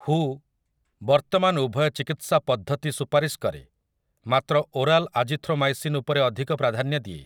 ହୁ' ବର୍ତ୍ତମାନ ଉଭୟ ଚିକିତ୍ସା ପଦ୍ଧତି ସୁପାରିଶ କରେ, ମାତ୍ର ଓରାଲ୍ ଆଜିଥ୍ରୋମାଇସିନ୍ ଉପରେ ଅଧିକ ପ୍ରାଧାନ୍ୟ ଦିଏ ।